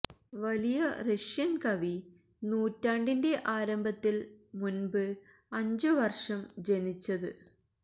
വലിയ റഷ്യൻ കവി ത് നൂറ്റാണ്ടിന്റെ ആരംഭത്തിൽ മുൻപ് അഞ്ചു വർഷം ജനിച്ചത്